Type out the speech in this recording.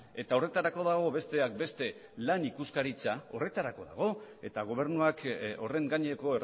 eta horretarako dago besteak beste lan ikuskaritza horretarako dago eta gobernuak horren gaineko